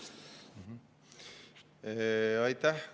Aitäh!